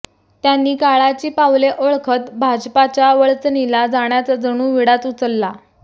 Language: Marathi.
त्यांनी काळाची पाऊले ओळखत भाजपाच्या वळचणीला जाण्याचा जणू विडाच उचलला